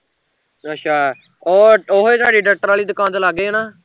ਅੱਛਾ, ਉਹੋ ਓਹੀ ਤੁਹਾਡੀ doctor ਆਲੀ ਦੁਕਾਨ ਦੇ ਲਾਗੇ ਹੈਨਾ